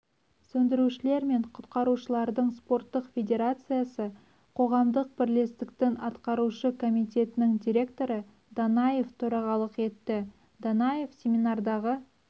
сөндірушілер мен құтқарушылардың спорттық федерациясы қоғамдық бірлестіктің атқарушы комитетінің директоры данаев төрағалық етті данаев семинардағы